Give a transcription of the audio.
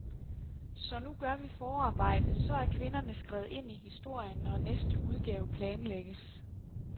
Så nu gør vi forarbejdet, så er kvinderne skrevet ind i historien, når næste udgave planlægges.